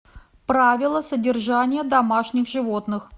правила содержания домашних животных